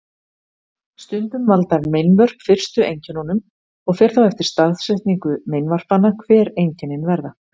Stundum valda meinvörp fyrstu einkennunum og fer þá eftir staðsetningu meinvarpanna hver einkennin verða.